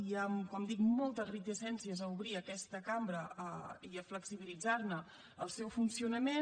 hi han com dic moltes reticències a obrir aquesta cambra i a flexibilitzar ne el seu funcionament